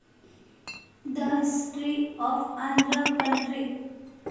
The history of Andhra country.